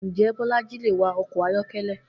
Njé̩ Bó̩lají lè wa o̩kò̩ ayó̩ké̩lé̩?